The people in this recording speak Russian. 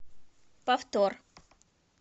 повтор